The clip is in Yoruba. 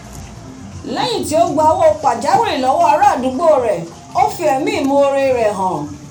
léyìn tí o gba owó pàjáwìrì lọ́dọ̀ ará àdúgbò rè o fi ẹ̀mí ìmore hàn